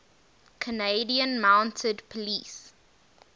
canadian mounted police